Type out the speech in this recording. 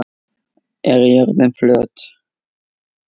Er jörðin flöt?